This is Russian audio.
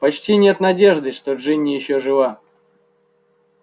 почти нет надежды что джинни ещё жива